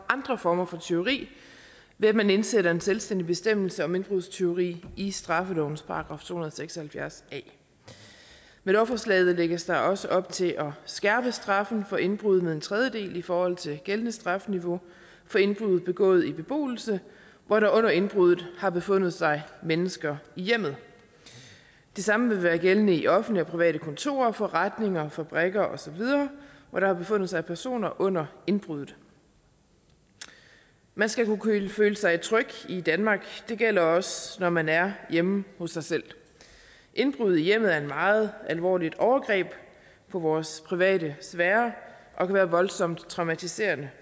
andre former for tyveri ved at man indsætter en selvstændig bestemmelse om indbrudstyveri i straffelovens § to hundrede og seks og halvfjerds a med lovforslaget lægges der også op til at skærpe straffen for indbrud med en tredjedel i forhold til gældende strafniveau for indbrud begået i beboelse hvor der under indbruddet har befundet sig mennesker i hjemmet det samme vil være gældende i offentlige og private kontorer forretninger fabrikker osv hvor der har befundet sig personer under indbruddet man skal kunne føle sig tryg i danmark og det gælder også når man er hjemme hos sig selv indbrud i hjemmet er et meget alvorligt overgreb på vores private sfære og kan være voldsomt traumatiserende